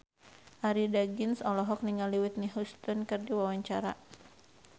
Arie Daginks olohok ningali Whitney Houston keur diwawancara